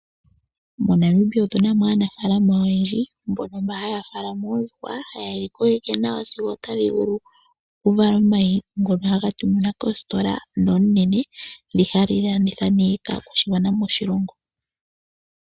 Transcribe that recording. MoNamibia otuna aanafaalama oyendji mbono mba haya faalama oondjuhwa, haye dhi kokeke nawa sigo otadhi vulu oku vala omayi ngono haga tuminwa koositola dhoonene dhi hadhi landitha nee kaakwashigwana moshilongo.